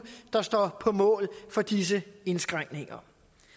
står på mål for disse indskrænkninger